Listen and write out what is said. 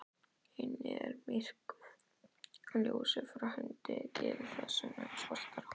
Inni er myrkur, ljósið frá hundinum gerir það enn svartara.